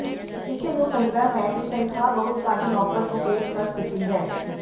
ਕਿਸੇ ਨੂੰ ਕਹਿੰਦਾ ਹੈ ਕਿ ਤਨਖਾਹ ਬਹੁਤ ਘੱਟ ਨੌਕਰ ਨੂੰ ਪੇਸ਼ਕਸ਼ ਕੀਤੀ ਹੈ